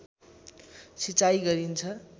सिँचाइ गरिन्छ